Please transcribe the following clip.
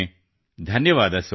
ಧನ್ಯವಾದ ಸೋದರ